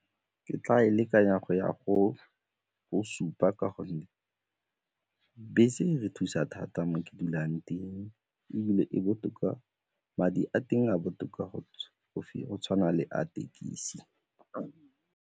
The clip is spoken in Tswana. Ke tla e lekanya go ya go supa ka gonne bese di re thusa thata mo ke dulang teng ebile e botoka, madi a teng a botoka go tshwana le a thekisi.